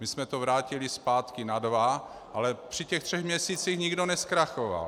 My jsme to vrátili zpátky na dva, ale při těch třech měsících nikdo nezkrachoval.